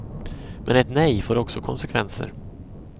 Men ett nej får också konsekvenser.